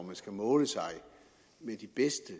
man skal måle sig med de bedste